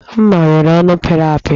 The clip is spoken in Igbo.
M̀má nwere ọnụ pịrị apị